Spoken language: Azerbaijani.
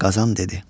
Qazan dedi: